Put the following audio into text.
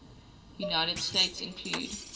united states include